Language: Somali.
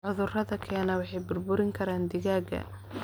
Cudurada keena waxay burburin karaan digaagga.